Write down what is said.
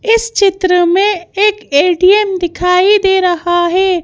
इस चित्र में एक ए_टी_एम दिखाई दे रहा है।